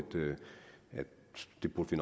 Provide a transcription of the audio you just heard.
det burde vi